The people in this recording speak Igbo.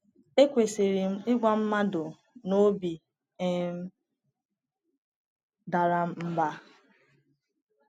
EKwesịrị m Ịgwa Mmadụ na obi um dara m mba?